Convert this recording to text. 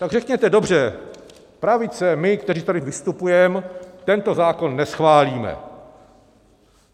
Tak řekněte dobře, pravice: my, kteří tady vystupujeme, tento zákon neschválíme.